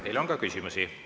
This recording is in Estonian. Teile on ka küsimusi.